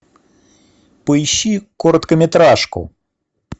поищи короткометражку